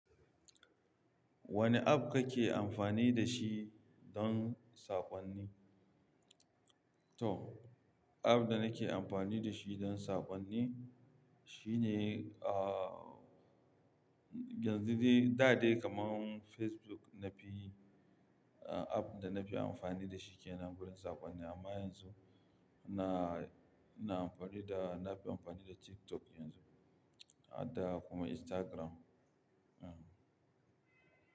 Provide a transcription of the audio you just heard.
Wane app kake amfani da shi don saƙonni? To, app da nake amfani da shi don saƙonni shine, ah, yanzu dai da dai kamar Facebook na fi app da na fi amfani da shi ke nan gurin saƙonni. Amma yanzu na, na amfani da, na fi amfani da TikTok yanzu, ada kuma Instagram, hm.